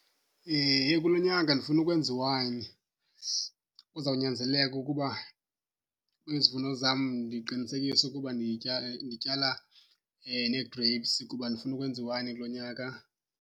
Heyi kulo nyaka ndifuna ukwenza iwayini. Kuzawunyanzeleka ukuba izivuno zam ndiqinisekise ukuba ndityala nee-grapes kuba ndifuna ukwenza iwayini kulo nyaka.